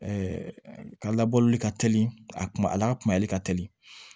ka labɔli ka teli a kuma a la kumali ka teli